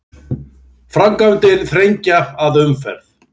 Framkvæmdir þrengja að umferð